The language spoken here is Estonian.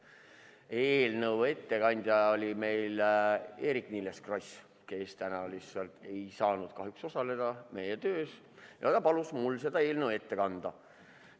Eelnõu ettekandja oli meil Eerik-Niiles Kross, kes täna lihtsalt ei saanud kahjuks osaleda meie töös ja palus mul see eelnõu ette kanda.